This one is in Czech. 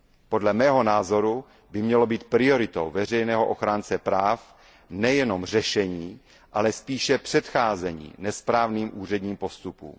Podle mého názoru by mělo být prioritou veřejného ochránce práv nejenom řešení, ale spíše předcházení nesprávným úředním postupům.